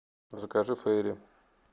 закажи фейри